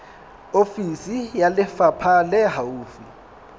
ofisi ya lefapha le haufi